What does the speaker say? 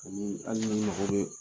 Ani hali n'i mako bɛ